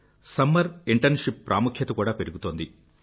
summer internship ప్రాముఖ్యత కూడా పెరుగుతోంది